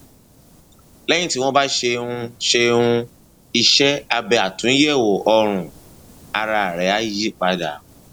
lẹyìn tí wọn bá ṣe um ṣe um iṣẹ abẹ àtúnyẹwò ọrùn ara rẹ á yí padà